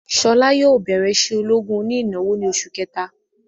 Ṣọlá yóò bẹrẹ isé ológun oní ìnáwó ni oṣù kẹta